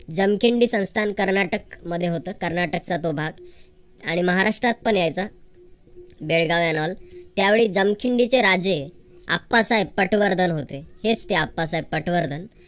जमखिंडी संस्थान कर्नाटक मध्ये होतं. कर्नाटकचा तो भाग आणि महाराष्ट्रात पण यायचा. बेळगाव and all त्यावेळी जमखंडीचे राजे आप्पासाहेब पटवर्धन होते. हेच ते आप्पासाहेब पटवर्धन.